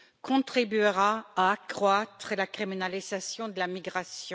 contribuera à accroître la criminalisation de la migration.